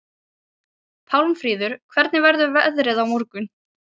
Pálmfríður, hvernig verður veðrið á morgun?